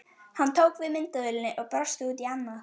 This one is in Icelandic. Hann tók við myndavélinni og brosti út í annað.